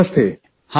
ನಮಸ್ತೆ ಸರ್